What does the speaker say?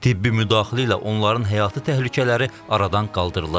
Tibbi müdaxilə ilə onların həyatı təhlükələri aradan qaldırılıb.